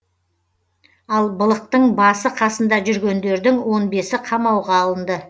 ал былықтың басы қасында жүргендердің он бесі қамауға алынды